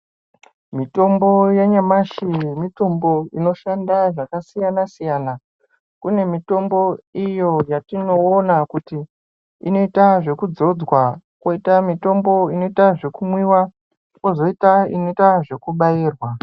Mitombo yanyamashi mitombo inoshanda zvakasiyana-siyana. Kune mitombo iyo yatinoona kuti inoita zvekudzodzwa ,kwozoita inoitwa zvekumwiwa, kwozoitwa inoita zvekubairwa.